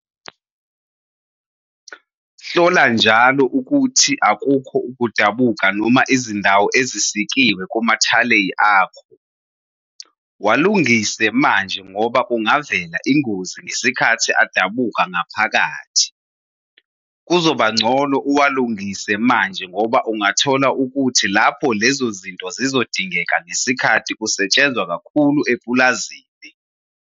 Hlola njalo ukuthi akukho ukudabuka noma izindawo ezisikiwe kumathaleyi akho. Walungise manje ngoba kungavela ingozi ngesikhathi adabuka ngaphakathi. Kuzobangcono uwalungise manje ngoba ungathola ukuthi lapho lezo zinto zizodingeka ngesikhathi kusetshenzwa kakhulu epulazini.